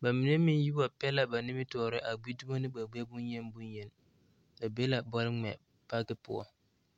bs mine meŋ yi wa pɛ la a nimitɔɔre a gbi dumo ne ba gbɛɛ bonyeni bonyeni ba be la bɔle ŋmɛ paki poɔ.